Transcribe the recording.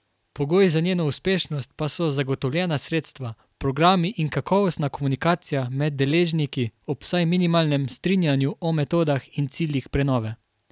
Pogoj za njeno uspešnost pa so zagotovljena sredstva, programi in kakovostna komunikacija med deležniki ob vsaj minimalnem strinjanju o metodah in ciljih prenove.